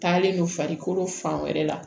Taalen don farikolo fan wɛrɛ la